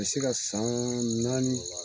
A bi se ka san naani